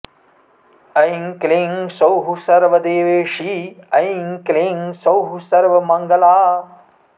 ऐं क्लीं सौः सर्वदेवेशी ऐं क्लीं सौः सर्वमङ्गला